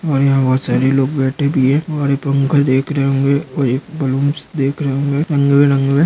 और यहाँ बहुत सारी लोग बैठे भी है और ये पंखा देख रहे होंगे और एक बलून्स देख रहे होंगे रंगीबेरंगे।